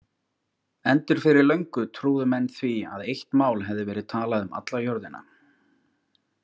Endur fyrir löngu trúðu menn því að eitt mál hefði verið talað um alla jörðina.